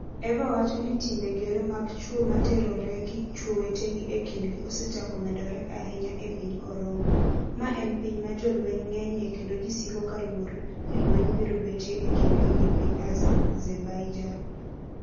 Eva wacho ni timbe gero mag chwo ma terore gi chwo wetegi e kindgi osechako medore ahinya e piny Orongo, ma en piny ma jolweny ng'enyie kendo ji siko ka luor ni lweny biro betie e kindgi gi piny Azerbaijan.